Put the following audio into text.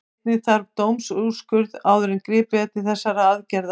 Einnig þarf dómsúrskurð áður en gripið er til þessara aðgerða.